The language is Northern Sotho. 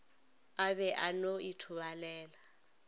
a be a no ithobalela